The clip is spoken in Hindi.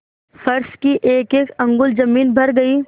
फर्श की एकएक अंगुल जमीन भर गयी